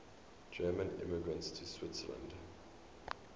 german immigrants to switzerland